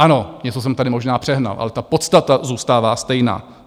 Ano, něco jsem tady možná přehnal, ale ta podstata zůstává stejná.